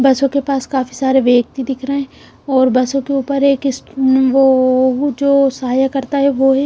बसों के पास काफी सारे व्यक्ति दिख रहे हैं और बसों के ऊपर एक वो जो सहाय्य करता है वो हैं।